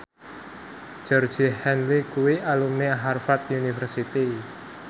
Georgie Henley kuwi alumni Harvard university